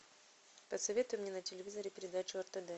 посоветуй мне на телевизоре передачу ртд